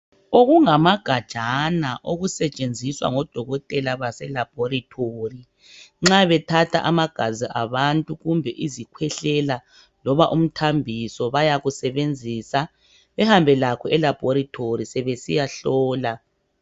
Okumagajana okusetshenziswa ngodokotela baselaboratory nxa bethatha amagazi abantu kumbe izikhwehlela loba umthambiso bayakusebenzisa behambe lakho elaboratory sebesiyahlola